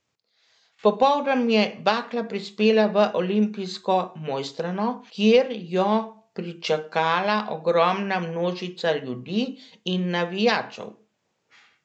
Popoldan je bakla prispela v olimpijsko Mojstrano, kjer jo pričakala ogromna množica ljudi in navijačev.